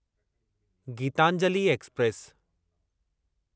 Geetanjali express